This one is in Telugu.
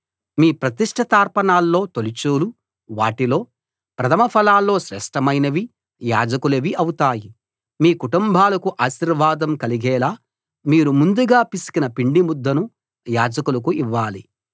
మీ ప్రతిష్ఠితార్పణల్లో తొలిచూలు వాటిలో ప్రథమ ఫలాల్లో శ్రేష్ఠమైనవి యాజకులవి అవుతాయి మీ కుటుంబాలకు ఆశీర్వాదం కలిగేలా మీరు ముందుగా పిసికిన పిండి ముద్దను యాజకులకు ఇవ్వాలి